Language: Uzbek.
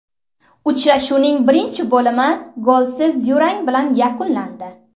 Uchrashuvning birinchi bo‘limi golsiz durang bilan yakunlandi.